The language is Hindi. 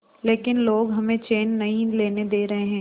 लेकिन लोग हमें चैन नहीं लेने दे रहे